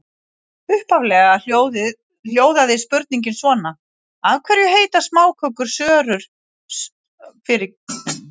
Upphaflega hljóðaði spurningin svona: Af hverju heita smákökurnar sörur sörur?